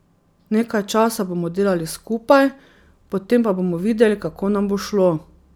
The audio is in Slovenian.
Nekaj časa bomo delali skupaj, potem pa bomo videli, kako nam bo šlo.